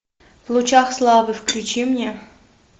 в лучах славы включи мне